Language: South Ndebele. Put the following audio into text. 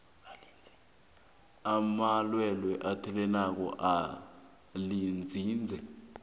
lamalwelwe athelelanako elinzinze